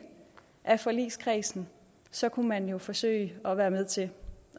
af forligskredsen så kunne man jo forsøge at være med til